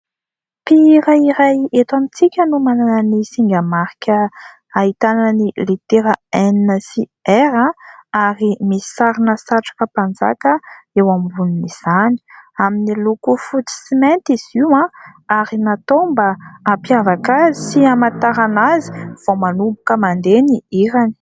Mpihira iray eto amintsika no manana ny singa marika, ahitana ny litera "n" sy "r" ary misy sarina satroka mpanjaka eo ambonin'izany; amin' ny loko fotsy sy mainty izy io ary natao mba hampiavaka azy sy hamatarana azy vao manomboka mandeha ny hirany.